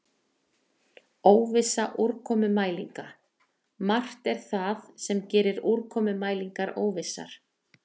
Óvissa úrkomumælinga Margt er það sem gerir úrkomumælingar óvissar.